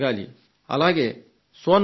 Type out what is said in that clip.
అలాగే సోనం పటేల్